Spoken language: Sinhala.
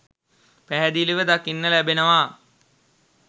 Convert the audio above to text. පැහැදිලිව දකින්න ලැබෙනවා.